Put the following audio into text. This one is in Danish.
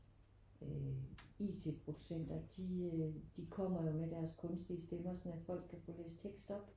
Øh it-producenter de øh de kommer jo med deres kunstige stemmer sådan at folk kan få læst tekst op